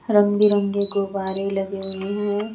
रंग बिरंगे गुब्बारे लगे हुए हैं।